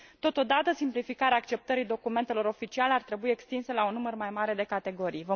Totodată, simplificarea acceptării documentelor oficiale ar trebui extinsă la un număr mai mare de categorii.